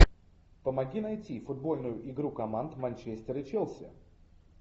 помоги найти футбольную игру команд манчестер и челси